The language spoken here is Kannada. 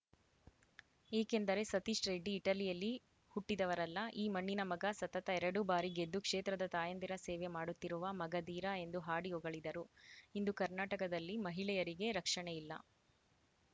ಏಕೆಂದರೆ ಸತೀಶ್‌ ರೆಡ್ಡಿ ಇಟಲಿಯಲ್ಲಿ ಹುಟ್ಟಿದವರಲ್ಲ ಈ ಮಣ್ಣಿನ ಮಗ ಸತತ ಎರಡು ಬಾರಿ ಗೆದ್ದು ಕ್ಷೇತ್ರದ ತಾಯಂದಿರ ಸೇವೆ ಮಾಡುತ್ತಿರುವ ಮಗಧೀರ ಎಂದು ಹಾಡಿ ಹೊಗಳಿದರು ಇಂದು ಕರ್ನಾಟಕದಲ್ಲಿ ಮಹಿಳೆಯರಿಗೆ ರಕ್ಷಣೆಯಿಲ್ಲ